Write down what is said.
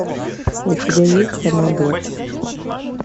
у тебя есть амадор